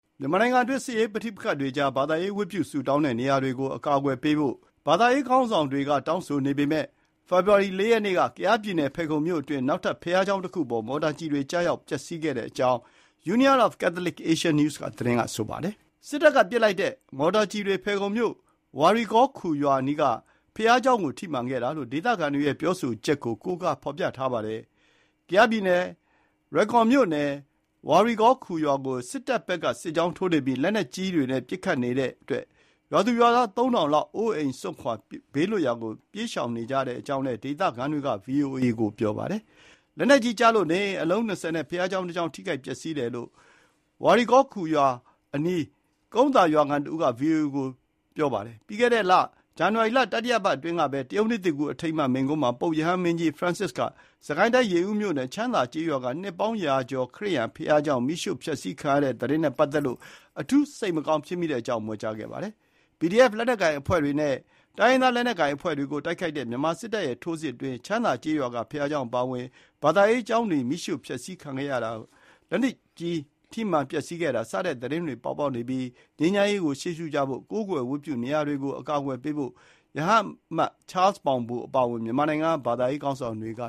မြန်မာနိုင်ငံအတွင်း စစ်ရေးပဋိပက္ခတွေကြား ဘာသာရေး ဝတ်ပြုဆုတောင်းတဲ့နေရာတွေကို အကာအကွယ်ပေးဖို့ ဘာသာရေးခေါင်းဆောင်တွေ တောင်းဆိုနေပေမဲ့ ဖေဖေါ်ဝါရီလ ၄ ရက်နေ့က ကယားပြည်နယ် ဖယ်ခုံမြို့ အတွင်း နောက်ထပ် ဘုရားကျောင်းတခုအပေါ် မော်တာကျည်တွေ ကျပြီး ပျက်ဆီးခဲ့တဲ့ အကြောင်း Union of Catholic Asian News သတင်းမှာ ရေးသားထားပါတယ်။ စစ်တပ်က ပစ်လိုက်တဲ့ မော်တာကျည်တွေ ဖယ်ခုံမြို့ ဝါရီကောခူ ရွာအနီးက ဘုရားကျောင်ကို ထိမှန်ခဲ့တာလို့ ဒေသခံတွေရဲ့ ပြောဆိုချက်ကို ကိုးကားဖေါ်ပြထားပါတယ်။ ကယားပြည်နယ် (ဒေသအခေါ် ကရင်နီပြည်) လွိုင်ကော်မြို့နယ် ဝါရီကောခူရွာကို စစ်တပ်ဖက်က စစ်ကြောင်းထိုးနေပြီး လက်နက်ကြီးတွေနဲ့ ပစ်ခတ်နေတဲ့အတွက် ရွာသူရွာသား သုံးထောင်လောက် အိုးအိမ်စွန့်ခွာ ဘေးလွတ်ရာကို ပြေးရှောင်နေကြရတဲ့အကြောင်းလယ်း ဒေသခံတွေက ဗွီအိုအေကိုပြောပါတယ်။ လက်နက်ကြီးကျလို့ နေအိမ် အလုံး ၂၀ နဲ့ ဘုရားကျောင်းတစ်ကျောင်း ထိခိုက်ပျက်စီးတယ်လို့ ဝါရီကော်ခူရွာအနီး ကုန်းသာရွာခံ တစ်ဦးက ဗွီအိုအေကို ပြောပါတယ်။ ပြီးခဲ့တဲ့လ ဇန်နဝါရီလ တတိယပတ်အတွင်းကပဲ တရုတ်နှစ်သစ်ကူး အထိမ်းအမှတ် မိန့်ခွန်းမှာ ပုပ်ရဟန်းမင်းကြီး Francis က စစ်ကိုင်းတိုင်း၊ ရေဦးမြို့နယ်၊ ချမ်းသာကျေးရွာက နှစ်ပေါင်းရာကျော် ခရစ်ယာန်ဘုရားကျောင်း မီးရှို့ဖျက်ဆီးခံရတဲ့ သတင်းနဲ့ ပတ်သက်လို့ အထူး စိတ်မကောင်းဖြစ်မိတဲ့အကြောင်း မြွက်ကြားခဲ့ပါတယ်။ PDF လက်နက်ကိုင်အဖွဲ့တွေနဲ့ တိုင်းရင်းသားလက်နက်ကိုင်အဖွဲ့တွေကို တိုက်ခိုက်တဲ့ မြန်မာစစ်တပ်ရဲ့ ထိုးစစ်အတွင်း ချမ်းသာကျေးရွာက ဘုရားကျောင်းအပါအဝင်၊ ဘာသာရေးကျောင်းတွေ မီးရှို့ဖျက်ဆီးခံရတာ လက်နက်ကြီးကျည် ထိမှန်ပျက်ဆီးတာ စတဲ့ သတင်းတွေ ပေါ်ပေါက်နေပြီး ငြိမ်းချမ်းရေးကို ရှေ့ရှုကြဖို့။ ကိုးကွယ်ဝတ်ပြုရာနေရာတွေကို အကာအကွယ်ပေးဖို့ ရဟန်းအမတ် ချားလ်စ်မောင်ဘို အပါအဝင် မြန်မာနိုင်ငံက ဘာသာရေး ခေါင်းဆောင်တွေက